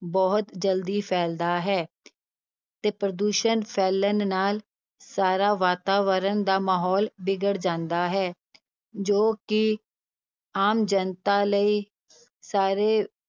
ਬਹੁਤ ਜ਼ਲਦੀ ਫੈਲਦਾ ਹੈ ਤੇ ਪ੍ਰਦੂਸ਼ਣ ਫੈਲਣ ਨਾਲ ਸਾਰਾ ਵਾਤਾਵਰਨ ਦਾ ਮਾਹੌਲ ਵਿਗੜ ਜਾਂਦਾ ਹੈ, ਜੋ ਕਿ ਆਮ ਜਨਤਾ ਲਈ, ਸਾਰੇ